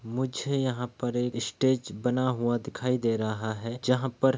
मुछे यहाँ पर एक स्टेज बना हुआ दिखाई दे रहा है जहा पर --